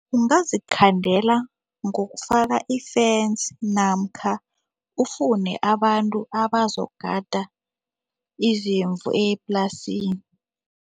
Ungazikhandela ngokufaka i-fence namkha ufune abantu abazogada izimvu eplasini.